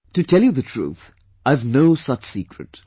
To tell you the truth, I have no such secret